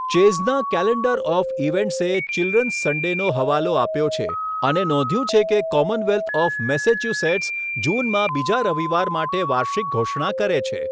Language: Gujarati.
ચેઝના કેલેન્ડર ઓફ ઈવેન્ટ્સે ચિલ્ડ્રન્સ સન્ડેનો હવાલો આપ્યો છે અને નોંધ્યું છે કે કોમનવેલ્થ ઓફ મેસેચ્યુસેટ્સ જૂનમાં બીજા રવિવાર માટે વાર્ષિક ઘોષણા કરે છે.